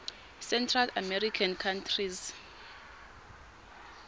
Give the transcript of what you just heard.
central american countries